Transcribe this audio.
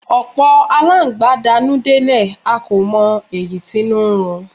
Ọ̀pọ̀ alángbá dakùn délẹ̀ a kò mọ èyí tínú n run